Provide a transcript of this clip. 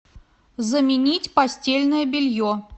заменить постельное белье